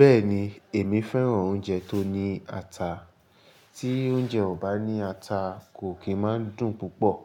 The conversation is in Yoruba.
Bẹ́ẹ̀ni, èmi fẹ́ràn oúnjẹ tó ní ata. Tí oúnjẹ ò bá ní ata kò kí máa dùn púpọ̀.